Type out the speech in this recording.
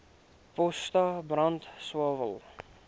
potas brand swael